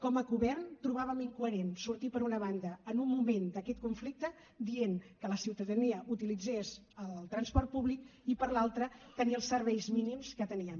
com a govern trobàvem incoherent sortir per una banda en un moment d’aquest conflicte dient que la ciutadania utilitzés el transport públic i per l’altra tenir el serveis mínims que teníem